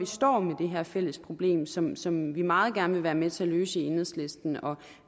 står med det her fælles problem som som vi meget gerne vil være med til at løse i enhedslisten og